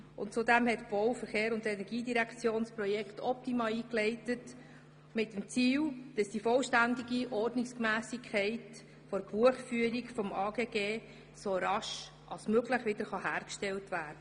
Zudem hat die Bau-, Verkehrs- und Energiedirektion das Projekt «Optima» eingeleitet mit dem Ziel, die vollständige Ordnungsmässigkeit der Buchführung des AGG so rasch als möglich wiederherzustellen.